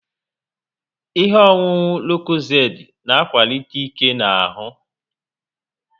Ihe ọṅụṅụ lokozed na akwalite ike n'ahu